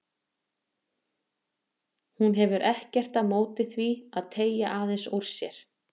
Hún hefur ekkert á móti því að teygja aðeins úr sér.